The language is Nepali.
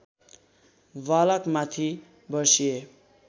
बालकमाथि बर्सिए